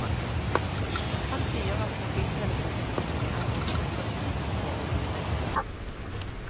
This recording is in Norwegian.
Han sier at mobiltelefonen ikke er noe sikkert middel for å bli reddet.